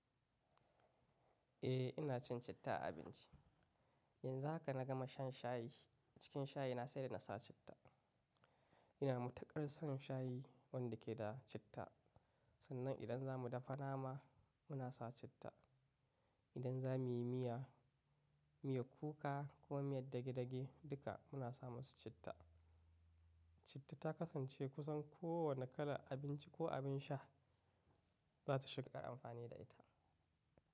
Eh ina cin citta a abinci. Yanzu haka na gama shan shayi, cikin shayi na sai da na sa citta. Ina matuƙar son shayi wanda ke da citta. Sannan idan za mu dafa nama muna sa citta, idan za mu yi miya, miyar kuka ko miyar dage-dage duka muna sa masu citta. Citta ta kasance kusan kowane kalar abinci ko abin sha za ta shiga amfani da ita.